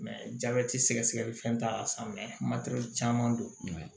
jabɛti sɛgɛsɛgɛli fɛn t'a la san matɛrɛli caman don mɛ